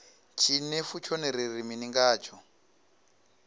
tshinefu tshone ri ri mini ngatsho